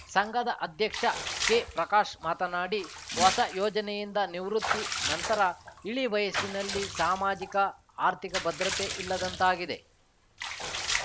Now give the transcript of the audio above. ಸಂಘದ ಅಧ್ಯಕ್ಷ ಕೆ ಪ್ರಕಾಶ್‌ ಮಾತನಾಡಿ ಹೊಸ ಯೋಜನೆಯಿಂದ ನಿವೃತ್ತಿ ನಂತರ ಇಳಿವಯಸ್ಸಿನಲ್ಲಿ ಸಮಾಜಿಕ ಆರ್ಥಿಕ ಭದ್ರತೆ ಇಲ್ಲದಂತಾಗಿದೆ